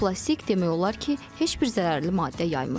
Bu plastik demək olar ki, heç bir zərərli maddə yaymır.